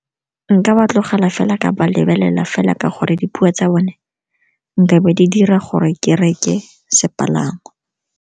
Nka ba tlogela fela ka ba lebelela fela ka gore dipuo tsa bone nkabe di dira gore ke reke sepalangwa.